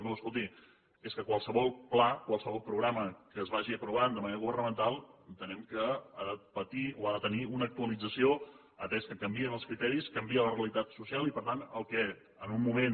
no escolti és que qualsevol pla qualsevol programa que es vagi aprovant de manera governamental entenem que ha de patir o ha de tenir una actualització atès que canvien els criteris canvia la realitat social i per tant el que en un moment